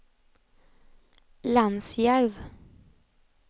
Lansjärv